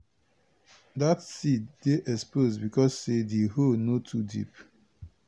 dat seed dey expose because say di hole no too deep.